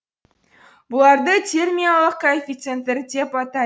бұларды термиялық коэффиценттер деп атайды